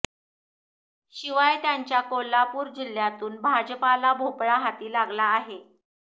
शिवाय त्यांच्या कोल्हापूर जिल्ह्यातून भाजपाला भोपळा हाती लागला आहे